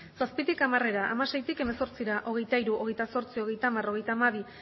zazpitik hamarera hamaseitik hemezortzira hogeita hiru hogeita zortzi hogeita hamar hogeita hamabi